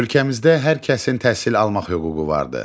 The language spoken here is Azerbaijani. Ölkəmizdə hər kəsin təhsil almaq hüququ vardır.